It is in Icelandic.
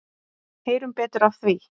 Heyrum betur af því.